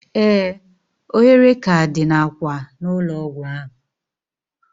Ee! Ohere k'a dị n'akwa ụlọ ọgwụ ahụ.